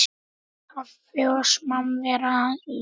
Kaffi og samvera í lokin.